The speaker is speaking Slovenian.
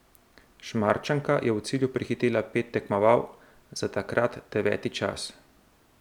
Šmarčanka je v cilju prehitela pet tekmovalk za takrat deveti čas.